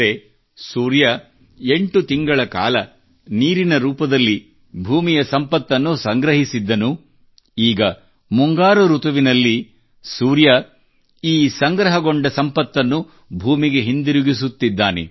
ಅಂದರೆ ಸೂರ್ಯನು ಎಂಟು ತಿಂಗಳ ಕಾಲ ನೀರಿನ ರೂಪದಲ್ಲಿ ಭೂಮಿಯ ಸಂಪತ್ತನ್ನು ಸಂಗ್ರಹಿಸಿದ್ದನು ಈಗ ಮುಂಗಾರು ಋತುವಿನಲ್ಲಿ ಸೂರ್ಯ ಈ ಸಂಗ್ರಹಗೊಂಡ ಸಂಪತ್ತನ್ನು ಭೂಮಿಗೆ ಹಿಂದಿರುಗಿಸುತ್ತಿದ್ದಾನೆ